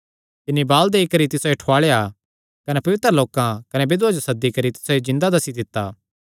तिन्नी वाल देई करी तिसायो ठुआल़ेया कने पवित्र लोकां कने बिधवां जो सद्दी करी तिसायो जिन्दा दस्सी दित्ता